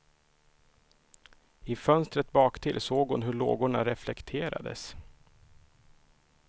I fönstret baktill såg hon hur lågorna reflekterades.